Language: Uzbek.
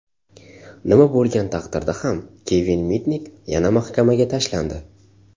Nima bo‘lgan taqdirda ham, Kevin Mitnik yana mahkamaga tashlandi.